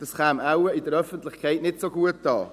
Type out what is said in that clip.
Das käme wohl in der Öffentlichkeit nicht so gut an.